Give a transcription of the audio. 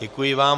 Děkuji vám.